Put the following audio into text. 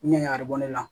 Ɲɛgɛn a bɛ bɔ ne la